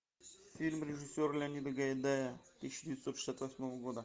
фильм режиссера леонида гайдая тысяча девятьсот шестьдесят восьмого года